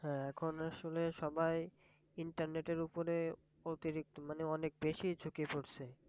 হ্যাঁ এখন আসলে সবাই internet এর ওপরে অতিরিক্ত মানে অনেক বেশি ঝুকে পড়ছে।